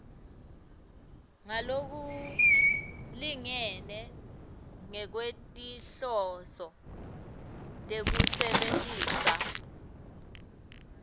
ngalokulingene ngekwetinhloso tekusebentisa